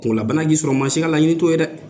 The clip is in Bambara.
Kungolo la bana b'i sɔrɔ ,maa si ka laɲini t'o ye dɛ!